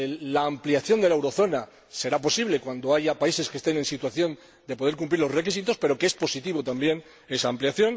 la ampliación de la eurozona será posible cuando haya países que estén en situación de poder cumplir los requisitos, pero que esa ampliación también es positiva.